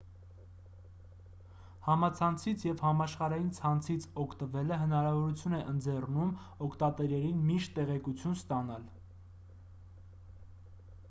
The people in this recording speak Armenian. համացանցից և համաշխարհային ցանցից օգտվելը հնարավորություն է ընձեռում օգտատերերին միշտ տեղեկություն ստանալ